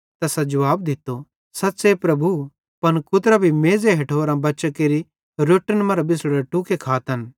तैसां जुवाब दित्तो सच़्च़े प्रभु पन कुतरां भी मेज़े हेठोरां बच्चां केरि रोट्टन मरां बिछ़ड़ोरे टुक्ड़े खातन